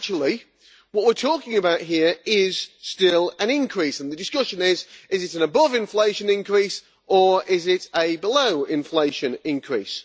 But, actually, what we are talking about here is still an increase, and the discussion is whether it is an above-inflation increase or a below-inflation increase.